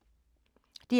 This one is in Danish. DR K